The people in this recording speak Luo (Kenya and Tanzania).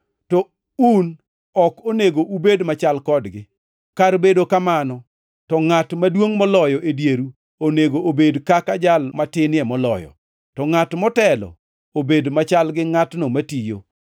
To un ok onego ubed machal kodgi. Kar bedo kamano, to ngʼat maduongʼ moloyo e dieru onego obed kaka jal matinie moloyo, to ngʼat motelo obed machal gi ngʼatno matiyo.